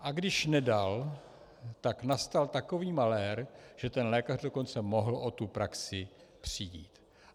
A když nedal, tak nastal takový malér, že ten lékař dokonce mohl o tu praxi přijít.